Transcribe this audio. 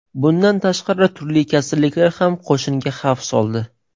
Bundan tashqari, turli kasalliklar ham qo‘shinga xavf soldi.